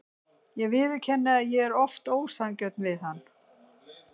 Ég viðurkenni að ég er oft ósanngjörn við hann.